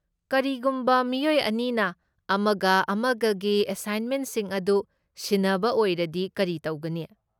ꯀꯔꯤꯒꯨꯝꯕ ꯃꯤꯑꯣꯏ ꯑꯅꯤꯅ ꯑꯃꯒ ꯑꯃꯒꯒꯤ ꯑꯦꯁꯥꯏꯟꯃꯦꯟꯁꯤꯡ ꯑꯗꯨ ꯁꯤꯟꯅꯕ ꯑꯣꯏꯔꯗꯤ ꯀꯔꯤ ꯇꯧꯒꯅꯤ?